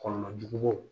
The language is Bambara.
Kɔlɔlɔ jugu